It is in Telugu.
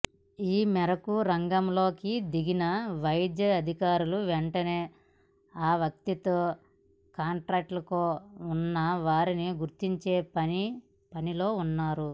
ఈమేరకు రంగంలోకి దిగిన వైద్యాధికారులు వెంటనే ఆ వ్యక్తితో కాంటక్ట్లో ఉన్న వారిని గుర్తించే పనిలో ఉన్నారు